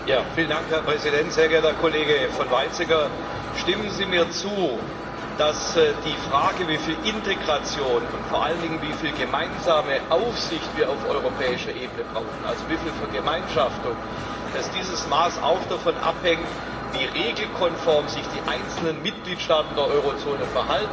Herr Kollege von Weizsäcker, stimmen Sie mir zu, dass die Frage, wie viel Integration und vor allen Dingen wie viel gemeinsame Aufsicht wir auf europäischer Ebene brauchen also wie viel Vergemeinschaftung, dass dieses Maß auch davon abhängt, wie regelkonform sich die einzelnen Mitgliedstaaten der Eurozone verhalten.